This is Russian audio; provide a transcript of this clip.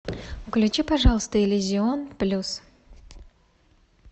включи пожалуйста иллюзион плюс